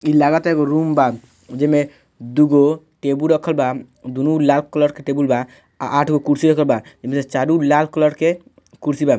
इ लागाता एगो रूम बा जेमे दु गो टेबुल रखल बा दु नो लाल कलर के टेबुल बा आ आठगो कुर्सियों बा एमे से चारू लाल कलर के कुर्सी बा।